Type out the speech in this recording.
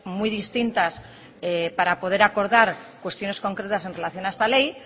muy distintas para poder acordar cuestiones concretas en relación a esta ley